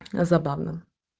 забавно